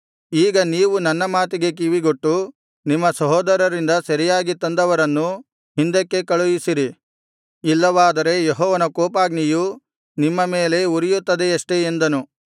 ಈಗ ನೀವು ನನ್ನ ಮಾತಿಗೆ ಕಿವಿಗೊಟ್ಟು ನಿಮ್ಮ ಸಹೋದರರಿಂದ ಸೆರೆಯಾಗಿ ತಂದವರನ್ನು ಹಿಂದಕ್ಕೆ ಕಳುಹಿಸಿರಿ ಇಲ್ಲವಾದರೆ ಯೆಹೋವನ ಕೋಪಾಗ್ನಿಯೂ ನಿಮ್ಮ ಮೇಲೆ ಉರಿಯುತ್ತದೆಯಷ್ಟೇ ಎಂದನು